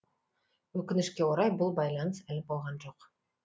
өкінішке орай бұл байланыс әлі болған жоқ